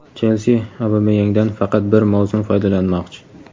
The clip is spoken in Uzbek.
"Chelsi" Obameyangdan faqat bir mavsum foydalanmoqchi.